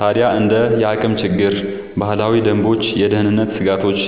ታዲያ እንደ የአቅም ችግር፣ ባህላዊ ደንቦችና የደህንነት ስጋቶች